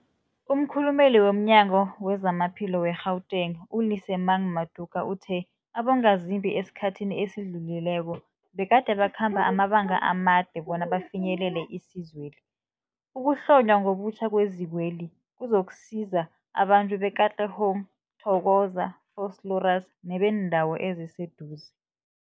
Umkhulumeli womNyango weZamaphilo we-Gauteng, u-Lesemang Matuka uthe abongazimbi esikhathini esidlulileko begade bakhamba amabanga amade bona bafinyelele isizweli. Ukuhlonywa ngobutjha kwezikweli kuzokusiza abantu be-Katlehong, Thokoza, Vosloorus nebeendawo eziseduze.